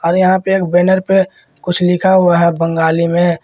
और यहां पे एक बैनर पे कुछ लिखा हुआ है बंगाली में।